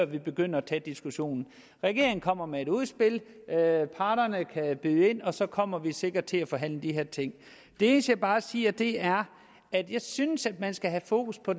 vi begynder at tage diskussionen regeringen kommer med et udspil parterne kan byde ind og så kommer vi sikkert til at forhandle de her ting det eneste jeg bare siger er at jeg synes at man skal have fokus på